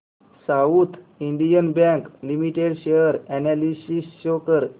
south Indian Bank Limited share analysis show कर